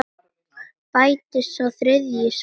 Bætist sá þriðji í safnið?